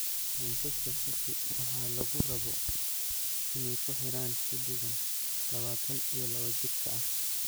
Manchester City waxaa lagu rabo inay kuxiraan xiddigan lawatan iyo lawa jirka ah.